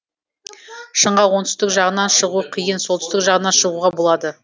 шыңға оңтүстік жағынан шығу қиын солтүстік жағынан шығуға болады